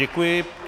Děkuji.